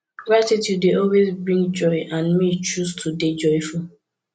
gratitude dey always bring joy and me choose to dey joyful